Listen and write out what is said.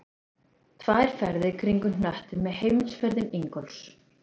Tvær ferðir kringum hnöttinn með heimsferðum Ingólfs